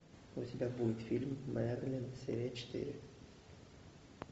у тебя будет фильм мерлин серия четыре